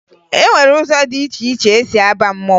E nwere ụzọ dị iche iche e si aba mmanwụ